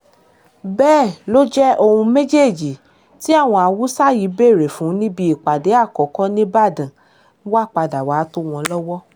bẹ́ẹ̀ ló jẹ́ ohun méjèèjì tí àwọn haúsá yìí béèrè fún níbi ìpàdé àkọ́kọ́ nìbàdàn padà wàá tò wọ́n lọ́wọ́